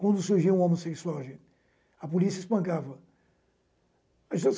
Quando surgiu o homossexual, a polícia espancava.